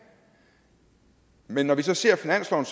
men når vi så ser finansloven